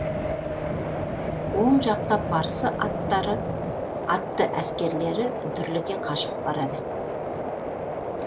оң жақта парсы атты әскерлері дүрліге қашып барады